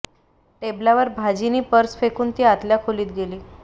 टेबलावर भाजी नि पर्स फेकून ती आतल्या खोलीत गेली